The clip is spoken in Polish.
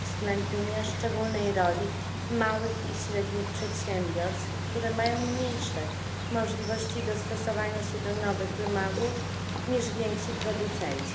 uwzględnienia szczególnej roli małych i średnich przedsiębiorstw, które mają mniejsze możliwości dostosowania się do nowych wymogów niż więksi producenci.